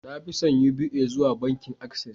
na fi son Uba zuwa bankin Access